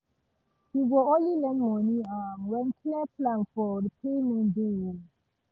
he go only lend money um when clear plan for repayment dey um